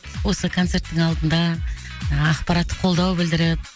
осы концерттің алдында ақпараттық қолдау білдіріп